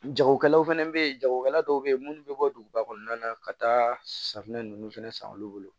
Jagokɛlaw fɛnɛ bɛ ye jagokɛla dɔw bɛ yen minnu bɛ bɔ duguba kɔnɔna na ka taa safunɛ ninnu fana san olu bolo